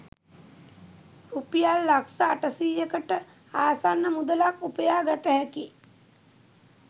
රුපියල් ලක්ෂ අටසීයකට ආසන්න මුදලක් උපයා ගත හැකි